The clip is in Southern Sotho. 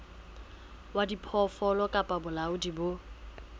wa diphoofolo kapa bolaodi bo